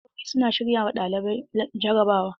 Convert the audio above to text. Lakcarori suna shirya ma ɗalibai jarabawa.